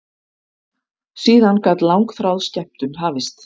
Síðan gat langþráð skemmtun hafist.